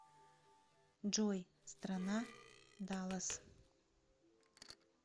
джой страна даллас